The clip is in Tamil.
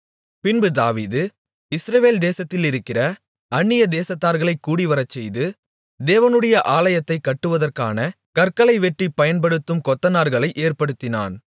பின்பு தாவீது இஸ்ரவேல் தேசத்திலிருக்கிற அந்நிய தேசத்தார்களைக் கூடிவரச்செய்து தேவனுடைய ஆலயத்தைக் கட்டுவதற்கான கற்களை வெட்டிப் பயன்படுத்தும் கொத்தனார்களை ஏற்படுத்தினான்